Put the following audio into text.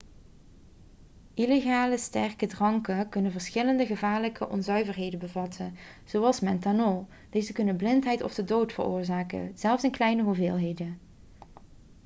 illegale sterke dranken kunnen verschillende gevaarlijke onzuiverheden bevatten zoals methanol deze kunnen blindheid of de dood veroorzaken zelfs in kleine hoeveelheden